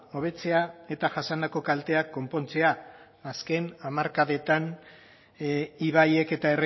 hobetzea eta jasandako kalteak konpontzea azken hamarkadetan ibaiek eta